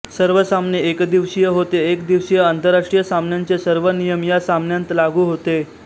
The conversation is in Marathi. सर्व सामने एकदिवसीय होते एक दिवसीय आंतरराष्ट्रीय सामन्यांचे सर्व नियम या सामन्यांत लागू होते